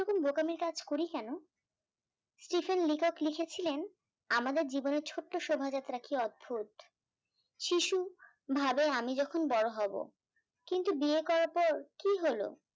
আমরা এমন বোকামি কাজ করি কেন Stephen লেখক লিখেছিলেন আমাদের জীবনের ছোট্ট শোভাযাত্রা কি অদ্ভুত, শিশু ভাবে আমি যখন বড় হব, কিন্ত বিয়ে করার পর কী হল